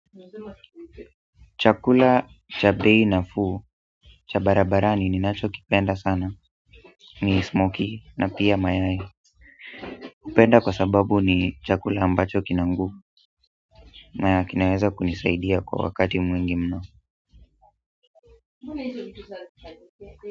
Chakula cha bei nafuu cha barabarani ninachokipenda sana ni smokie na pia mayai hupenda kwa sababu ni chakula ambacho kina nguvu ama kinaweza kunisaidia kwa wakati mwingi mno.